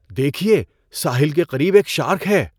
دیکھیے! ساحل کے قریب ایک شارک ہے!